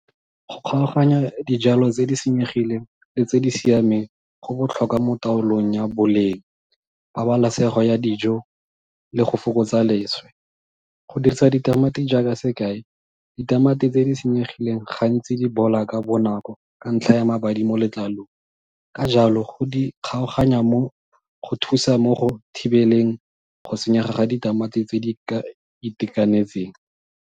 Go kgaoganya dijalo tse di senyegileng le tse di siameng go botlhokwa mo taolong ya boleng, pabalesego ya dijo, le go fokotsa leswe. Go dirisa ditamati jaaka sekai, ditamati tse di senyegileng gantsi di bola ka bonako ka ntlha ya mabadi mo letlalong. Ka jalo go di kgaoganya mo, go thusa mo go thibeleng go senyega ga ditamati tse di itekanetseng.